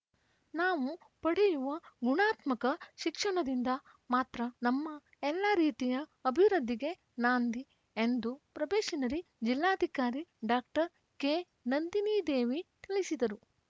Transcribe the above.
ನಾವು ಪಡೆಯುವ ಗುಣಾತ್ಮಕ ಶಿಕ್ಷಣದಿಂದ ಮಾತ್ರ ನಮ್ಮ ಎಲ್ಲಾ ರೀತಿಯ ಅಭಿವೃದ್ಧಿಗೆ ನಾಂದಿ ಎಂದು ಪ್ರೊಬೆಷನರಿ ಜಿಲ್ಲಾಧಿಕಾರಿ ಡಾಕ್ಟರ್ ಕೆನಂದಿನಿದೇವಿ ತಿಳಿಸಿದರು